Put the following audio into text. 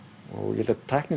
ég held að tæknin